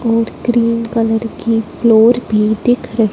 और cream colour की floor भी दिख रही --